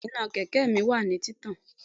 Bẹ́ẹ̀ni, iná kẹ̀kẹ́ mi wà ní títàn